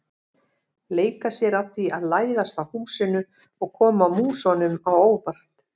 Leika sér að því að læðast að húsinu og koma músunum á óvart.